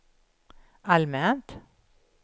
allmänt